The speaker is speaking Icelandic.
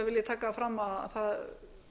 taka það fram að